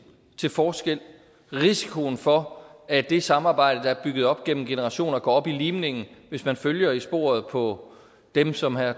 til forskel risikoen for at det samarbejde der er bygget op gennem generationer går op i limningen hvis man følger i sporet på dem som herre